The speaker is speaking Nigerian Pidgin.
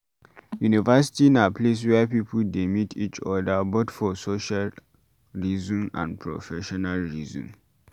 university na place where pipo de meet each oda both for social reason and professional reason